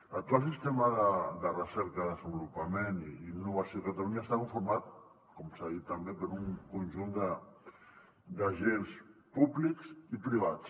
l’actual sistema de recerca desenvolupament i innovació a catalunya està conformat com s’ha dit també per un conjunt d’agents públics i privats